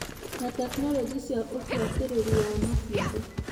na tekinoronjĩ cia ũbũatĩrĩri wa maciaro.